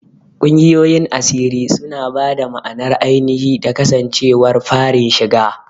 Ƙungiyoyin asiri suna ba da ma'anar ainihi da kasancewar farin shiga..